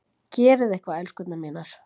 Gerið eitthvað, elskurnar mínar!